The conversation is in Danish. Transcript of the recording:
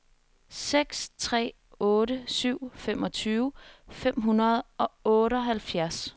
seks tre otte syv femogtyve fem hundrede og otteoghalvfjerds